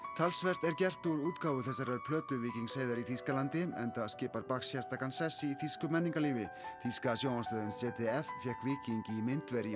talsvert er gert úr útgáfu þessarar plötu Víkings Heiðars í Þýskalandi enda skipar sérstakan sess í þýsku menningarlífi þýska sjónvarpsstöðin z d f fékk Víking í myndver í